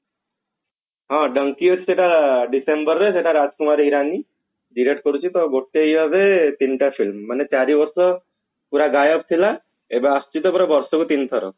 ହଁ ବଙ୍କିତ ସେଟା December ରେ ସେଟା ରାଜକୁମାର ଇରାନୀ direct କରୁଛି ତଗୋଟେ year ରେ ତିନିଟା film ମାନେ ଚାରିବର୍ଷ ପୁରା ଗାୟବ ଥିଲା ଏବେ ଆସିଛି ତ ପୁରା ବର୍ଷକୁ ତିନିଥର